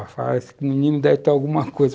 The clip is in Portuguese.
Falava assim, esse menino deve ter alguma coisa.